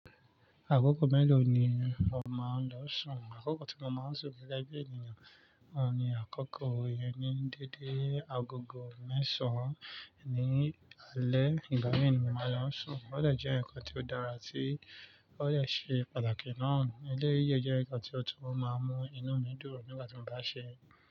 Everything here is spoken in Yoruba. Àkókò mélòó ni o máa ń lọ sùn? Àkókò tí mo máa ń sùn gẹ́gẹ́ bí ènìyàn, òun ni àkókò ìyẹn ní dédé agogo mẹ́sàn-án ní alẹ́. Ìgbà yii ni mo máa ń lọ sùn. Ó dẹ̀ jẹ́ ǹkan tí ó dára tí ó dẹ̀ ṣe pàtàkì náà. Eléyìí dẹ̀ jẹ́ ǹkan tí ó tún máa ń mú inú mi dùn nígbà tí mo bá ṣe é.